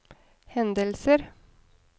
hendelser